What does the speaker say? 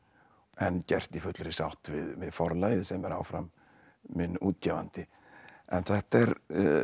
en gert í fullri sátt við Forlagið sem er áfram minn útgefandi en þetta er